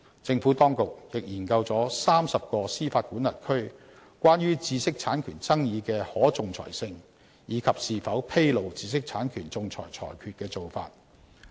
政府當局亦研究了30個司法管轄區關於知識產權爭議的可仲裁性，以及是否披露知識產權仲裁裁決的做法。